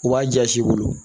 U b'a jasi i bolo